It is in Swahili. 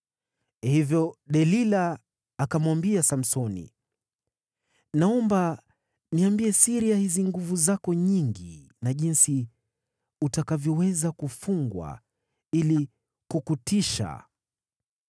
Hivyo Delila akamwambia Samsoni, “Naomba niambie siri ya hizi nguvu zako nyingi na jinsi utakavyoweza kufungwa ili kukutiisha.”